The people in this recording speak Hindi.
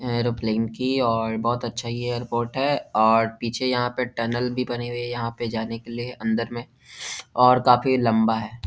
ऐरोप्लेन की और बहुत अच्छा ये एयरपोर्ट है ऑड पीछे यहाँ पे टनल भी बने हुए है यहाँ पे जाने के लिए अंदर में और काफी लम्बा है।